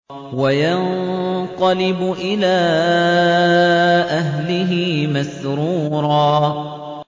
وَيَنقَلِبُ إِلَىٰ أَهْلِهِ مَسْرُورًا